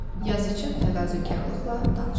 Yazıçı təvazökarlıqla danışdı.